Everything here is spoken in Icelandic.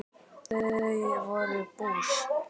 Þau voru bús.